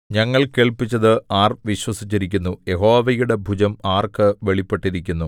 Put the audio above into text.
ഞങ്ങൾ കേൾപ്പിച്ചത് ആര് വിശ്വസിച്ചിരിക്കുന്നു യഹോവയുടെ ഭുജം ആർക്ക് വെളിപ്പെട്ടിരിക്കുന്നു